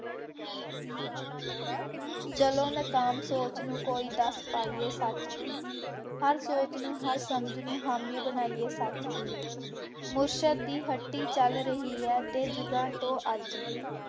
ਚੱਲੋ ਨਾਕਾਮ ਸੋਚ ਨੂੰ ਕੋਈ ਦੱਸ ਪਾਈਏ ਸੱਚ, ਹਰ ਸੋਚ ਨੂੰ ਹਰ ਸਮਝ ਨੂੰ ਹਾਮੀ ਬਣਾਈਏ ਸੱਚ ਦੀ, ਮੁਰਸ਼ਦ ਦੀ ਹੱਟੀ ਚੱਲ ਰਹੀ ਹੈ ਅਤੇ ਯੁੱਗਾਂ ਤੋਂ ਅੱਜ ਦੀ